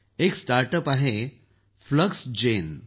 एक startup आहे Fluxgen